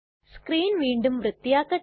screen വീണ്ടും വൃത്തിയാക്കട്ടെ